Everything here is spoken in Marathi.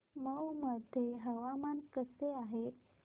मौ मध्ये हवामान कसे आहे